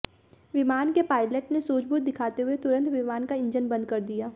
विमान के पायलट ने सूझबूझ दिखाते हुए तुरंत विमान का इंजन बंद कर दिया